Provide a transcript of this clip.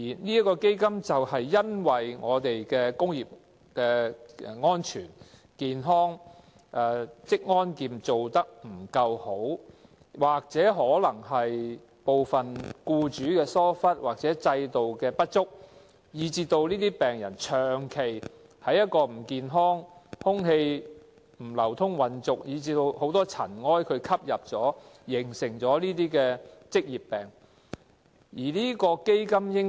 這個基金的設立，正因為我們的工業安全、職安健做得不夠好，也可能是部分僱主疏忽，或制度有不足，以致這些病人長期處於不健康、空氣不流通、混濁的環境，吸入太多塵埃而導致患上這些職業病。